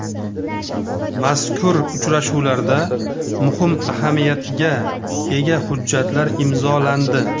Mazkur uchrashuvlarda muhim ahamiyatga ega hujjatlar imzolandi.